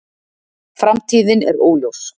Framtíðin er óljós